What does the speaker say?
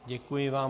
Děkuji vám.